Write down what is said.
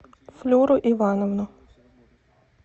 флюру ивановну